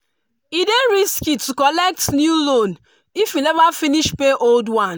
e dey risky to collect new loan if you never finish pay old one.